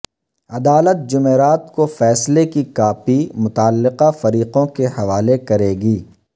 عدالت جمعرات کوفیصلے کی کاپی متعلقہ فریقوں کے حوالے کرے گی